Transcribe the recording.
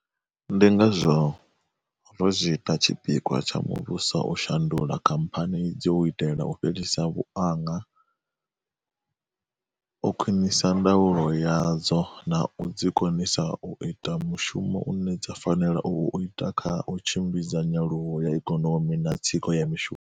Ndi ngazwo ro zwi ita tshi pikwa tsha muvhuso u shandula khamphani idzi u itela u fhelisa vhuaṅa, u khwiṅisa ndaulo yadzo na u dzi konisa u ita mushumo une dza fanela u u ita kha u tshimbidza nyaluwo ya ikonomi na tsiko ya mishumo.